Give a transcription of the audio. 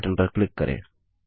अगले बटन पर क्लिक करें